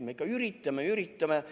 Me ikka üritame ja üritame.